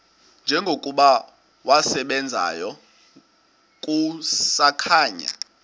njengokuba wasebenzayo kusakhanya